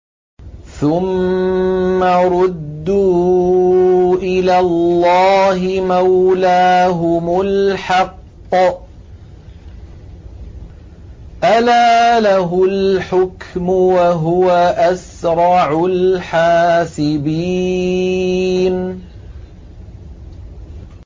ثُمَّ رُدُّوا إِلَى اللَّهِ مَوْلَاهُمُ الْحَقِّ ۚ أَلَا لَهُ الْحُكْمُ وَهُوَ أَسْرَعُ الْحَاسِبِينَ